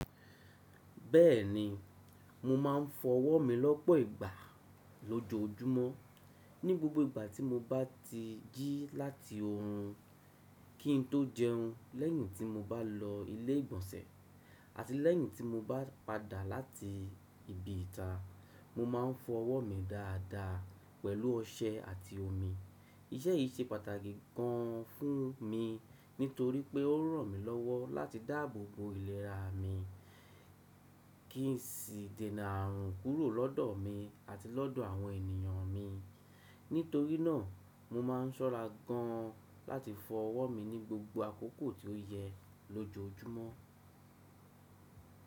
Bẹ́ẹ̀ni, mo máà ń fọ ọwọ́ mi lọ́pọ̀ ìgbà lójoojúmọ́. Ni gbogbo ìgbà tí mo bá ti jí láti orun, kí n tó jẹun lẹ́yìn tí mo bá lọ ilé ìgbọ̀nsẹ̀ àti lẹ́yìn tí mo bá padà láti ibi ìta, mo máà ń fọ ọwọ́ mi dáadáa pẹ̀lú ọṣẹ àti omi. Iṣẹ́ yìí ṣe pàtàkì gan an fún mi nítorí pé ó ràn mí lọ́wọ́ láti dáàbò bo ìlera mi, kí n sì dènà àrùn kúrò lọ́dọ̀ mi àti lọ́dọ̀ àwọn ènìyàn mi. Nítorí náà, mo máà ń ṣọ́ra gan an láti fọ ọwọ́ mi ní gbogbo àkókò tí ó yẹ lójoojúmọ́.